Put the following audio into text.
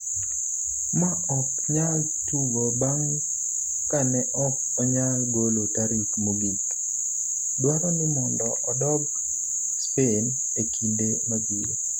ma ok nyal tugo bang' kane ok onyal golo tarik mogik, dwaro ni mondo odok Spain e kinde mabiro